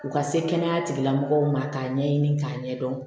U ka se kɛnɛya tigila mɔgɔw ma k'a ɲɛɲini k'a ɲɛdɔn